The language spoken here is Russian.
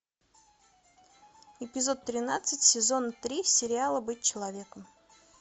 эпизод тринадцать сезон три сериала быть человеком